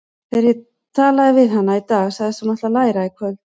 Þegar ég talaði við hana í dag sagðist hún ætla að læra í kvöld.